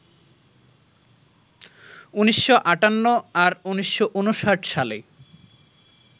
১৯৫৮ আর ১৯৫৯ সালে